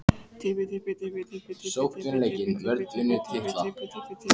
Ég hélt að þú ætlaðir aldrei að koma.